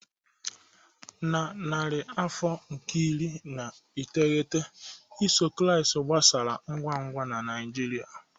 Na narị afọ nke iri na iteghete, iso ụzọ Kraịst gbasara ngwa ngwa na Nigeria.